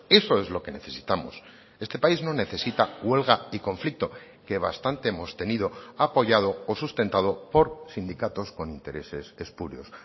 eso es lo que necesitamos este país no necesita huelga y conflicto que bastante hemos tenido apoyado o sustentado por sindicatos con intereses espurios